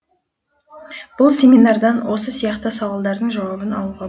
бұл семинардан осы сияқты сауалдардың жауабын алуға